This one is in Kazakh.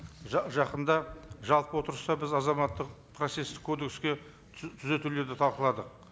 жақында жалпы отырыста біз азаматтық процесстік кодекске түзетулерді талқыладық